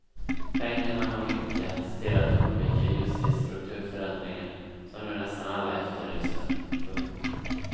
Pengarna har nyttjats till att undvika just de strukturförändringar som nu nästan alla efterlyser. punkt